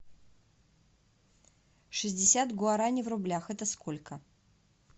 шестьдесят гуараней в рублях это сколько